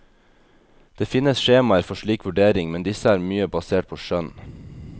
Det finnes skjemaer for slik vurdering, men disse er mye basert på skjønn.